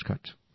নমস্কার